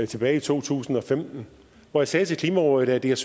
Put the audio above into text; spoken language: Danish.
tilbage i to tusind og femten hvor jeg sagde til klimarådet at jeg